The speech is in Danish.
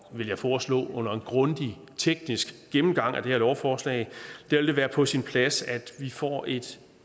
vil jeg foreslå grundig teknisk gennemgang af det her lovforslag vil det være på sin plads at vi får et